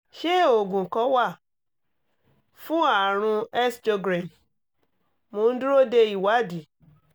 ṣé oògùn kan wà fún àrùn sjogren? mo ń dúró de ìwádìí